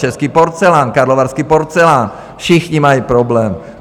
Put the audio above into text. Český porcelán, karlovarský porcelán, všichni mají problém.